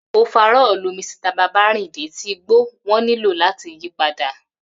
Ofarọ́ọ̀lu Misita Babárìndé tí gbó wón nílò làti yìí padà